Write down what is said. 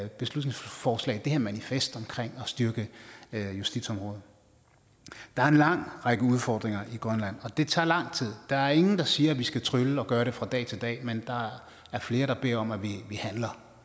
beslutningsforslag det her manifest om at styrke justitsområdet der er en lang række udfordringer i grønland og det tager lang tid der er ingen der siger at vi skal trylle og gøre det fra dag til dag men der er flere der beder om at vi handler